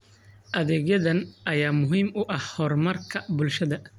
Adeegyadan ayaa muhiim u ah horumarka bulshada.